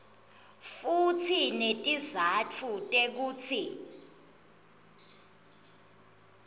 futsi netizatfu tekutsi